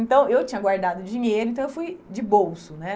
Então, eu tinha guardado dinheiro, então eu fui de bolso, né?